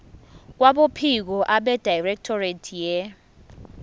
kwabophiko abedirectorate ye